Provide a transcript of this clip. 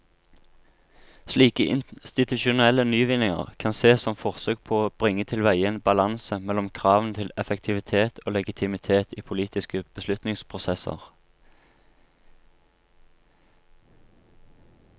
Slike institusjonelle nyvinninger kan sees som forsøk på å bringe tilveie en balanse mellom kravene til effektivitet og legitimitet i politiske beslutningsprosesser.